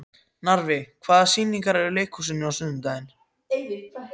Narfi, hvaða sýningar eru í leikhúsinu á sunnudaginn?